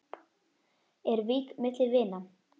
Er vík milli vina?